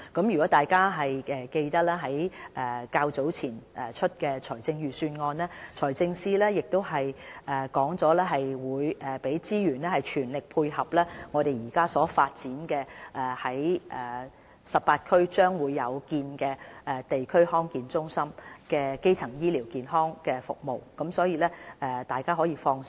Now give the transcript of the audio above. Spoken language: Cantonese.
若大家仍記得在較早前公布的財政預算案，財政司司長表示會投放資源，全力配合我們將在18區設立的地區康健中心提供基層醫療健康服務，所以大家可以放心。